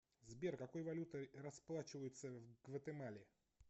сбер какой валютой расплачиваются в гватемале